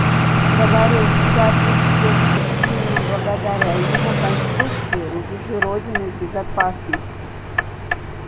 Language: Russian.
говорил счастлив тем что именно благодаря его конструкции рубежи родины в безопасности